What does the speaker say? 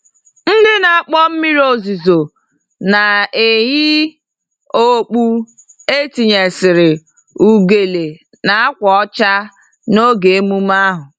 Ndị na-akpọ mmiri ozuzo na-eyi okpu etinyesịrị ugele na ákwà ọcha n'oge emume ahụ.